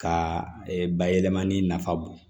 Ka bayɛlɛmani nafa bon